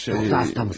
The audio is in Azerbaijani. Yoxsa xastasınız?